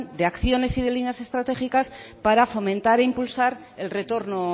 de acciones y de líneas estratégicas para fomentar e impulsar el retorno